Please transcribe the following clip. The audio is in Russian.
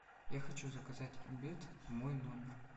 я хочу заказать обед в мой номер